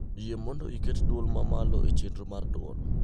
yie mondo iket dwol ma malo e chenro mar dwol